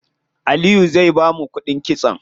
Aliyu zai bamu kuɗin kitson?